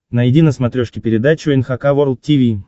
найди на смотрешке передачу эн эйч кей волд ти ви